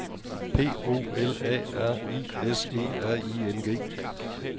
P O L A R I S E R I N G